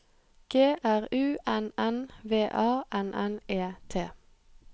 G R U N N V A N N E T